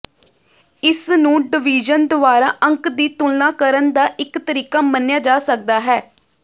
ਇਸ ਨੂੰ ਡਵੀਜ਼ਨ ਦੁਆਰਾ ਅੰਕ ਦੀ ਤੁਲਨਾ ਕਰਨ ਦਾ ਇਕ ਤਰੀਕਾ ਮੰਨਿਆ ਜਾ ਸਕਦਾ ਹੈ